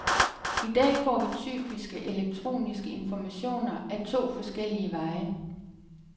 I dag får vi typisk elektroniske informationer ad to forskellige veje.